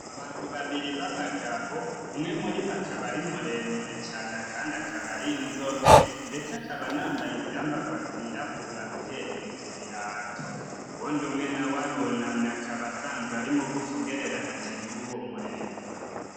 Abantu babiri b'abagabo. Umwe muri bo akaba ari muremure cane kandi akaba ari inzobe. Ndetse akaba anambaye ivyambagwa vyirabura uhereye ku birato. Uwundi umwe nawe arunamye akaba asanzwe ari mugufi ugereranije n'uwo muremure.